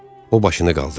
O başını qaldırdı.